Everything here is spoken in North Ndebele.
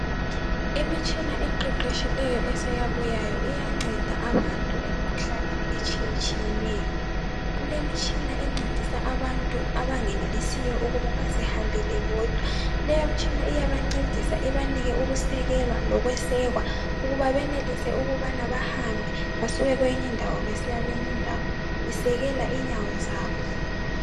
Imitshina esiqeqeshileyo eseyabuyayo iyangceda abantu emkhuhlaneni etshiye tshiyeneyo kulemitshina engcedisa abantu abangenelisiyo ukubana bezihambele bodwa leyi mitshina iyabangcedisa ukubana benelise ukusekwa lokuseka ukubana benelise ukuhamba basuke kweyinye indawo besiya kwenye indawo isekela inyawo zabo